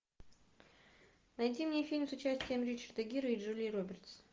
найди мне фильм с участием ричарда гира и джулии робертс